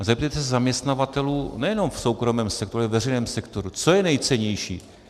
A zeptejte se zaměstnavatelů nejenom v soukromém sektoru, ale ve veřejném sektoru, co je nejcennější.